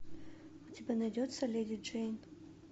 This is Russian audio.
у тебя найдется леди джейн